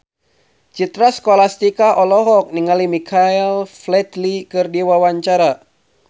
Citra Scholastika olohok ningali Michael Flatley keur diwawancara